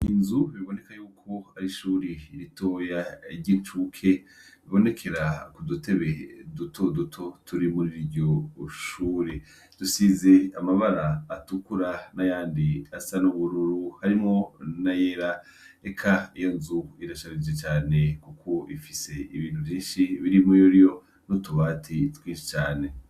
Inzu biboneka yuko ari ishuri ritoya iricuke bibonekera ku dutebe dutoduto turi muri ryo shuri dusize amabara atukura na yandi asa na ubururu harimwo na yera eka iyo nzu irashabije cane, kuko ifise ibintu vyinshi birimu yori yo rutubatiye twiscane.